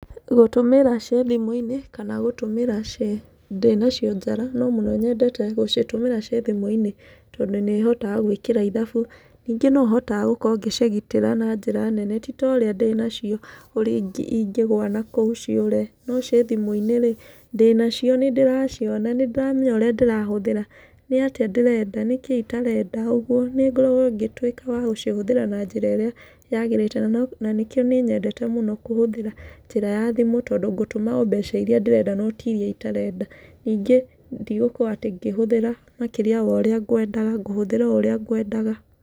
Gũtũmĩra ciĩ thimũ-inĩ, kana gũtũmĩra ciĩ, ndĩnacio njara, no mũno nyendete gũcitũmĩra ciĩ thimũ-inĩ, tondũ nĩ hotaga gwĩkĩra ithabu, nyingĩ no hotaga gũkorwo ngĩcĩgitĩra na njĩra nene, ti torĩa ndĩnacio ũrĩa ingĩgwa na kũu ciũre, no cithimũinĩ rĩ, ndĩnacio nĩ ndĩraciona, nĩ ndĩramenya ũrĩa ndĩrahũthĩra, nĩ atĩa ndĩrenda, nĩkĩ itarenda, ũguo, nĩ ngoragwo ngĩtwĩka wa gũcihũthĩra na njĩra ĩrĩa yagĩrĩte, na no na nĩkĩo nĩ nyendete mũno kũhũthĩra njĩra ya thimũ, tondũ ngũtũma o mbeca iria ndĩrenda no tiria itarenda, nyingĩ ndĩgũkorwo atĩ ngĩhũthĩra makĩria ya ũrĩa ngwendaga ngũhũthĩra oũrĩa ngwendaga.